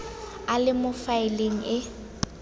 a le mo faeleng e